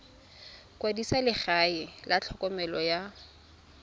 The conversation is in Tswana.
kwadisa legae la tlhokomelo ya